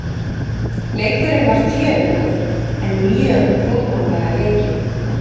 Leikurinn var fjörugur en mjög prúðmannlega leikinn.